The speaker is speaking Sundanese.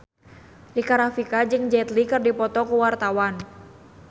Rika Rafika jeung Jet Li keur dipoto ku wartawan